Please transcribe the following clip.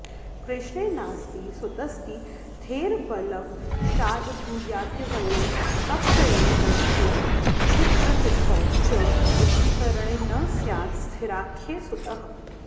कृष्णे नास्ति सुतस्तिथेर्बलवशाद्ब्रूयाद्द्वंयोः पक्षयोः दर्शे च्छिद्रतिथौ च विष्टिकरणे न स्यात् स्थिराख्ये सुतः